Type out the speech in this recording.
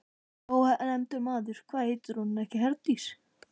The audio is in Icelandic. Ónefndur maður: Hvað heitir hún ekki Herdís, þarna?